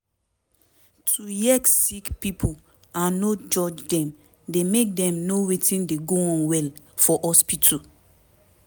to hear sick pipo and no judge dem dey make dem know wetin dey go on well for hospitu